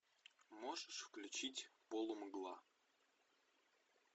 можешь включить полумгла